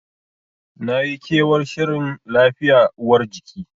Nayi kewar shirin lafiya uwar jiki.